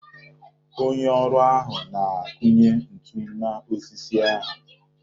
Onye ọrụ ahụ na-akụnye ntu n'osisi ahụ.